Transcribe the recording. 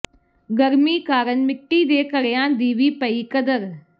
ਗਰਮੀ ਕਾਰਨ ਮਿੱਟੀ ਦੇ ਘੜਿਆਂ ਦੀ ਵੀ ਪਈ ਕਦਰ